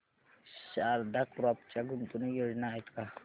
Sharda crop च्या गुंतवणूक योजना आहेत का